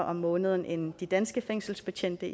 om måneden end de danske fængselsbetjente